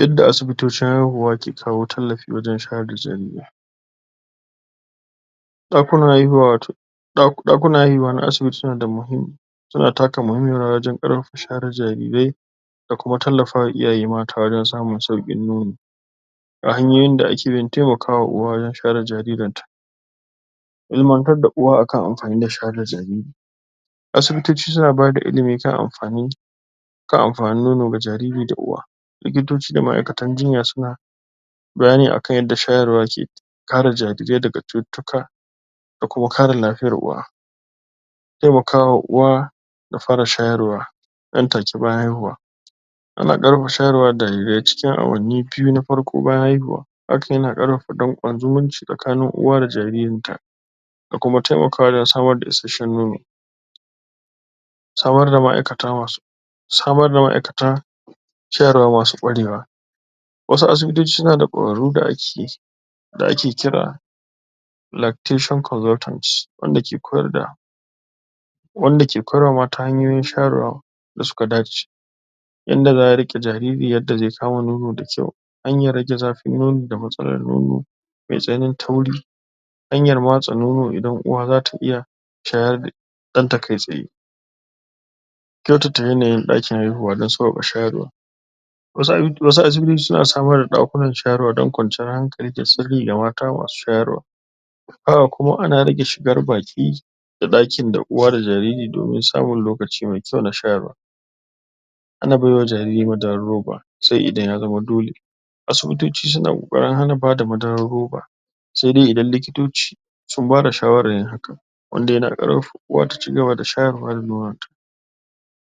yadda asibitocin haihuwa ke kawo tallafi wajen shayar da jarirai ɗakunan haihuwa wato ɗakunan haihuwa na asibiti suna da suna taka muhimmiyar rawa wajen ƙarfafa shayar da jarirai da kuma tallafa wa iyaye mata wajen samun sauƙin nono ga hanyoyin da ake bi don temakawa uwa wajen shayar da jaririnta ilimantar da uwa akan amfani na shayar da jariri asibitoci suna bada ilimi kan amfanin kan amfanin nono ga jariri da uwa likitoci da ma'aikatan jinya suna bayani akan yadda shayarwa yake kare jarirai daga cututtuka da kuma kare lafiyar uwa temaka wa uwa da fara shayarwa nan take bayan haihuwa ana ƙarfafa shayarwar jarirai cikin awanni biyu bayan haihuwa hakan yana ƙara ƙarfafa danƙon zumunci tsakanin uwa da jaririnta da kuma temakawa wajen samar da isashshen nono samar da ma'aikata masu samar da ma'aikata ciyarwa masu ƙwarewa wasu asibitoci suna da ƙwararru da ake da ake kira lactation consultants wanda ke koyar da wanda ke koyar wa mata hanyoyin shayarwa da suka dace yanda za'a riƙe jariri yadda ze kama nono da kyau hanyan rage zafin nono da matsalar nono me tsananin tauri hanyar matsa nono idan uwa zata iya shayar da ɗanta kai tsaye kyautata yanayin ɗakin haihuwa dan sauƙaƙa shayarwa wasu asibitoci suna samar da ɗakunan shayarwa dan kwanciyar hankali da sirri na mata masu shayarwa haka kuma ana rage shigar baƙi da ɗakin da uwa da jariri domin samun lokaci me kyau na shayarwa ana baiwa jariri madarar roba se idan ya zama dole asibitoci suna ƙoƙarin hana bada madarar roba sai dai idan likitoci sun bada shawarar yin hakan wanda yana ƙarfafa uwa ta cigaba da shayarwa da nonon ta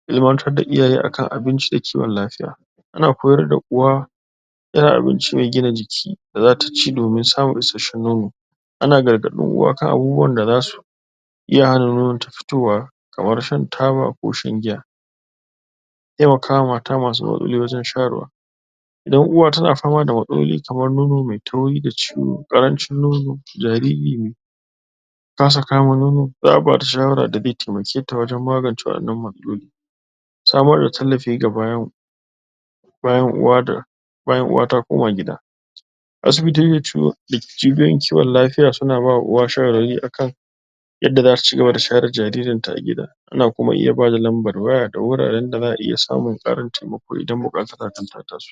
ilimantar da iyaye akan abinci da kiwon lafiya ana koyar da uwa irin abinci me gina jiki domin samun isashshen nono ana gargaɗin uwa kan abubuwan da zasu iya hana nonon ta fitowa kamar shan taba ko shan giya temakawa mata masu matsaloli wajen shayarwa idan uwa tana fama da matsaloli kamar nono me tauri da ciwo, ƙarancin nono, jariri me kasa kama nono za'a bata shawara da ze temaketa wajen magance waɗannan matsaloli samar da tallafi ga bayan uwa ta koma gida asibitoci da cibiyoyin kiwon lafiya suna ba wa uwa shawari akan yadda zata cigaba da shayar da jaririnta a gida ana kuma iya bada lambar waya da wuraren da za'a iya samun ƙarin temako idan buƙatar hakan ta taso